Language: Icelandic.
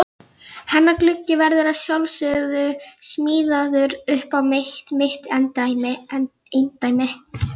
Hlammaði sér skellihlæjandi niður í grasið hjá honum.